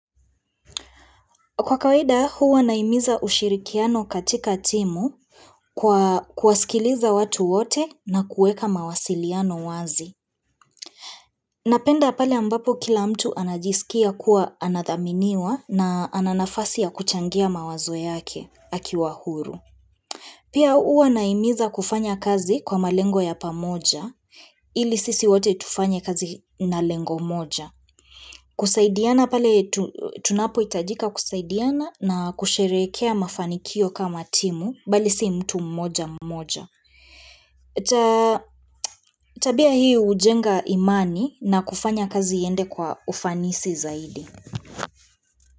Kwa kawaida, huwa nahimiza ushirikiano katika timu kwa kwasikiliza watu wote na kueka mawasiliano wazi. Napenda pale ambapo kila mtu anajisikia kuwa anathaminiwa na ananafasi ya kuchangia mawazo yake akiwa huru. Pia huwa nahimiza kufanya kazi kwa malengo ya pamoja ili sisi wote tufanye kazi na lengo moja. Kusaidiana pale tunapo hitajika kusaidiana na kusherekea mafanikio kama timu, bali si mtu mmoja mmoja. Tabia hii hujenga imani na kufanya kazi iende kwa ufanisi zaidi.